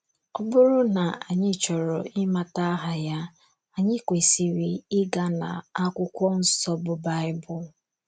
Ọ bụrụ na anyị chọrọ ịmata aha ya, anyị kwesịrị ịga n'akwụkwọ nsọ bụ Baịbụl.